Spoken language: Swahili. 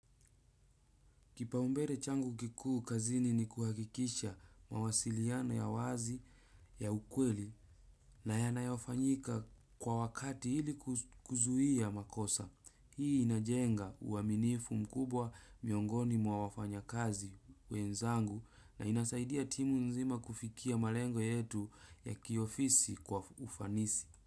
Kipaumbele changu kikuu kazini ni kuhakikisha mawasiliano ya wazi ya ukweli na yanayofanyika kwa wakati ili kuzuia makosa. Hii inajenga uaminifu mkubwa miongoni mwa wafanya kazi wenzangu, na inasaidia timu nzima kufikia malengo yetu ya kiofisi kwa ufanisi.